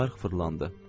Çarx fırlandı.